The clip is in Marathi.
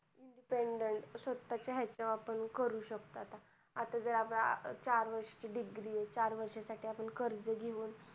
independent स्वतःच हेच वर आपण करू शकतो आता, आता जर आपली चार वर्षच degree आहे चार वर्ष साठी आपण कर्ज घेऊन